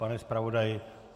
Pane zpravodaji?